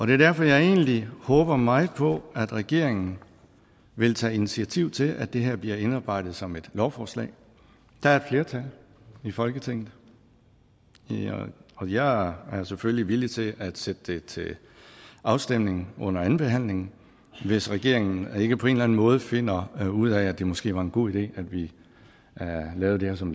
det er derfor jeg egentlig håber meget på at regeringen vil tage initiativ til at det her bliver indarbejdet som et lovforslag der er et flertal i folketinget og jeg er selvfølgelig villig til at sætte det til afstemning under andenbehandlingen hvis regeringen ikke på en eller anden måde finder ud af at det måske var en god idé at vi lavede det her som